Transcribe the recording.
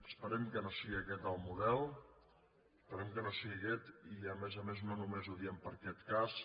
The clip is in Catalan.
esperem que no sigui aquest el model esperem que no sigui aquest i a més a més ho diem no només per a aquest cas